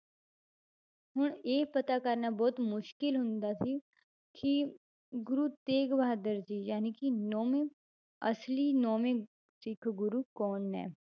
ਹੁਣ ਇਹ ਪਤਾ ਕਰਨਾ ਬਹੁਤ ਮੁਸ਼ਕਲ ਹੁੰਦਾ ਸੀ ਕਿ ਗੁਰੂ ਤੇਗ ਬਹਾਦਰ ਜੀ ਜਾਣੀਕਿ ਨੋਵੇਂ ਅਸਲੀ ਨੋਵੇਂ ਸਿੱਖ ਗੁਰੂ ਕੌਣ ਨੇ